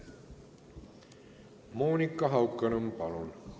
Monika Haukanõmm, palun!